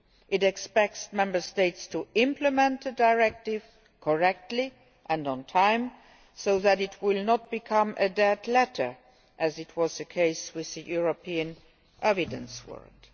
It expects Member States to implement the Directive correctly and on time, so that it will not become a dead letter, as was the case with the European Evidence Warrant.